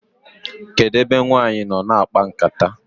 kedu ebe nwanyi noo na akpa nkata?